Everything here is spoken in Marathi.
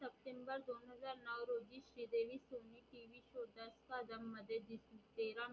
मध्ये दिसली